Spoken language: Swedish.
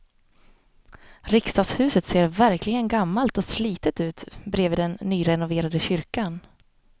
Riksdagshuset ser verkligen gammalt och slitet ut bredvid den nyrenoverade kyrkan.